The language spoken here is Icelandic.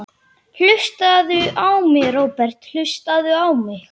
Hlustaðu á mig, Róbert, hlustaðu á mig.